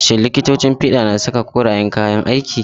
Shin likitocin fiɗa na saka korayen kayan aiki?